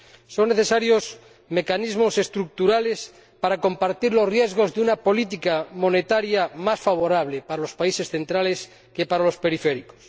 Son necesarios mecanismos estructurales para compartir los riesgos de una política monetaria más favorable para los países centrales que para los periféricos.